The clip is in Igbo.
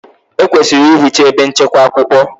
Ekwesịrị ehichaa ebe nchekwa akwụkwọ.